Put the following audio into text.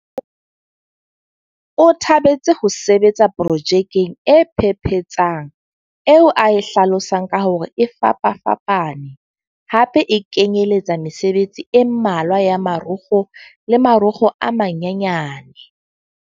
O thabetse ho sebetsa pro jekeng e phephetsang eo a e hlalosang ka hore e fapafapa ne hape e kenyeletsa mesebetsi e mmalwa ya marokgo le marokgo a manyanyane.